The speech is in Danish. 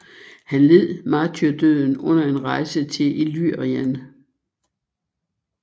Han led martyrdøden under en rejse til Illyrien